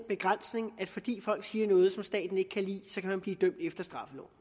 begrænsning at fordi folk siger noget som staten ikke kan lide kan de blive dømt efter straffeloven